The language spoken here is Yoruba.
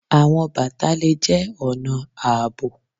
Awọn bata le jẹ ọna aabo.